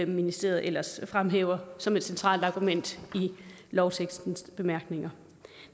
ministeriet ellers fremhæver som et centralt argument i lovtekstens bemærkninger